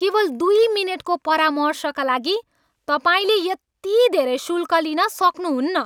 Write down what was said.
केवल दुई मिनेटको परामर्शका लागि तपाईँले यति धेरै शुल्क लिन सक्नुहुन्न!